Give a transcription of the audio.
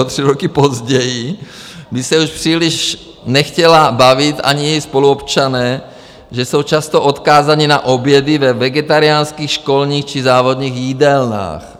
O tři roky později, když se už příliš nechtěla bavit, ani její spoluobčané, že jsou často odkázáni na obědy ve vegetariánských školních či závodních jídelnách.